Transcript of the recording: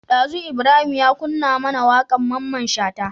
Dazu Ibrahim ya kunna mAna waƙar mamman shata